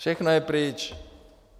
Všechno je pryč.